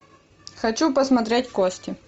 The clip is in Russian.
хочу посмотреть кости